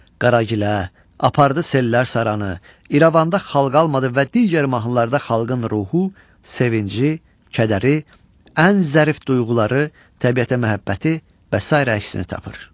Qaragilə, Apardı sellər saranı, İrəvanda xalq almadı və digər mahnılarda xalqın ruhu, sevinci, kədəri, ən zərif duyğuları, təbiətə məhəbbəti və sairə əksini tapır.